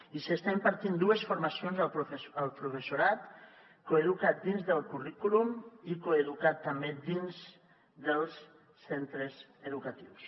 i s’estan impartint dues formacions al professorat coeduca’t dins del currículum i coeduca’t també dins dels centres educatius